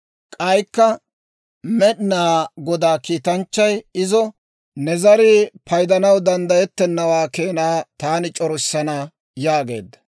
K'aykka Med'inaa Godaa kiitanchchay izo, «Ne zarii paydanaw danddayettennawaa keenaa taani c'orissana» yaageedda.